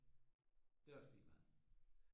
Det er også ligemeget